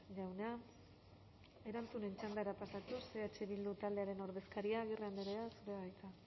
jauna erantzuten txandara pasatuz eh bildu taldearen ordezkaria agirre andrea zurea da hitza